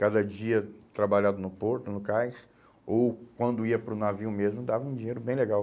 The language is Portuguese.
Cada dia trabalhado no porto, no cais, ou quando ia para o navio mesmo, dava um dinheiro bem legal.